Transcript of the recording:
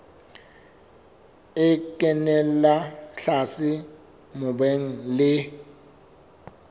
e kenella tlase mobung le